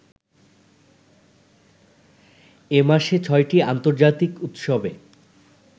এ মাসে ছয়টি আন্তর্জাতিক উৎসবে